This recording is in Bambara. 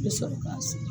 I bɛ sɔrɔ ka segin